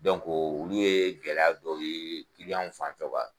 olu ye gɛlɛya dɔ ye fan fɛ